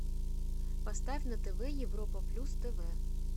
поставь на тв европа плюс тв